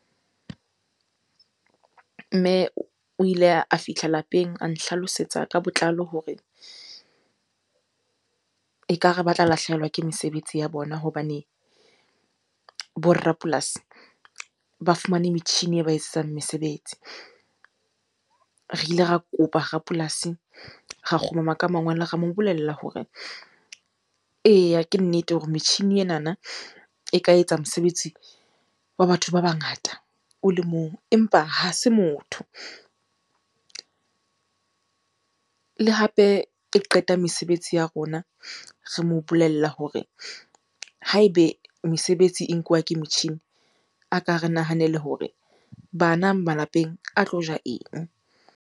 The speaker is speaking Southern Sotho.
Mme o ile a fihla lapeng a nhlalosetsa ka botlalo hore ekare ba tla lahlehelwa ke mesebetsi ya bona hobane bo rapolasi ba fumane metjhini e ba etsetsang mesebetsi. Re ile ra kopa rapolasi, ra kgumama ka mangwele, ra mo bolella hore, eya ke nnete hore metjhini enana e ka etsa mosebetsi wa batho ba bangata o le mong empa ha se motho, le hape e qeta mesebetsi ya rona. Re mo bolella hore ha ebe mesebetsi e nkuwa ke motjhini, a ka re nahanele hore bana malapeng a tlo ja eng?